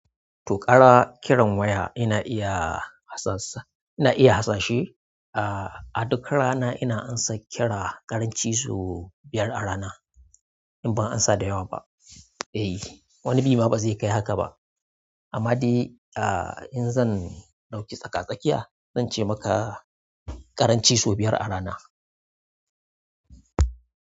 To kaga kiran waya ina iya harsa, ina iya harsashe. A duk rana ina ansa kira ƙaranci sau biyar a rana in ban ansa da yawa ba. Eh, wani bi ma bazai kai haka ba amma dai in zan ɗau tsaka-tsakiya, zan ce maka ƙaranci sau biyar a rana.